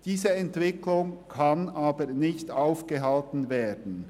Diese Entwicklung kann aber nicht aufgehalten werden.